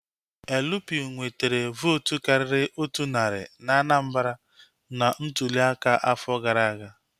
LP nwetere vootu karịrị otu narị na Anambra na ntụli aka afọ gara aga